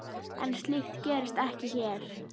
En slíkt gerist ekki hér.